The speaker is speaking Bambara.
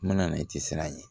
N bɛna na i tɛ siran yen